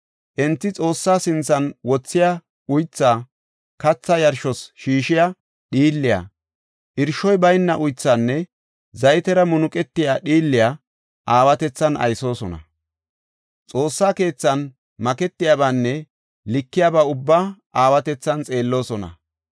Enti Xoossa sinthan wothiya uythaa, katha yarshos shiishiya dhiilliya, irshoy bayna uythaanne zaytera munuqetiya dhiilliya aawatethan aysoosona; Xoossa keethan maketiyabanne likeyabaa ubbaa aawatethan xeelloosona.